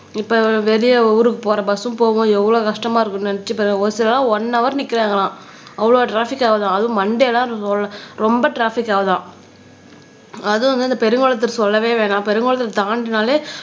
இப்ப வெளிய ஊருக்கு போற பஸ்சும் போகும் எவ்வளவு கஷ்டமா இருக்கும்னு நினைச்சு ஒரு சிலரா ஒன் ஹவர் நிக்கிறாங்களாம் அவ்வளவு ட்ராபிக் ஆகுதாம் அதுவும் மண்டேல்லாம் ரொம்ப ட்ராபிக் ஆகுதாம் அதுவும் வந்து இந்த பெருங்குளத்தூர் சொல்லவே வேணாம் பெருங்குளத்தை தாண்டுனாலே